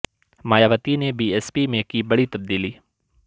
مایاوتی نے B S P میں کی بڑی تبدیلی